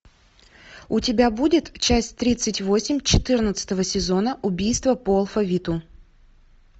у тебя будет часть тридцать восемь четырнадцатого сезона убийство по алфавиту